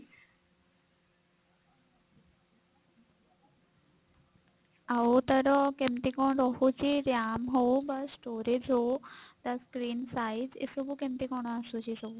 ଆଉ ତାର କେମତି କଣ ରହୁଛି RAM ହଉ ବା storage ହଉ ତା screen size ଏସବୁ କେମତି କଣ ଆସୁଛି ସବୁ?